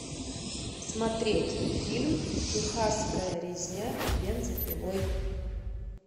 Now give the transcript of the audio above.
смотреть фильм техасская резня бензопилой